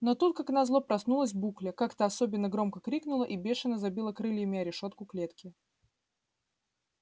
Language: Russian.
но тут как назло проснулась букля как-то особенно громко крикнула и бешено забила крыльями о решётку клетки